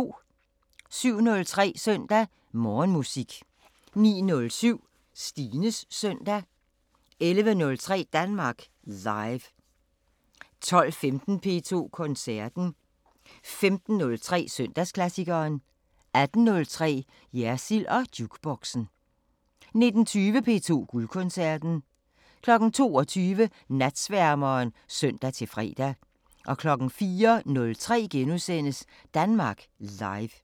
07:03: Søndag Morgenmusik 09:07: Stines Søndag 11:03: Danmark Live 12:15: P2 Koncerten 15:03: Søndagsklassikeren 18:03: Jersild & Jukeboxen 19:20: P2 Guldkoncerten 22:00: Natsværmeren (søn-fre) 04:03: Danmark Live *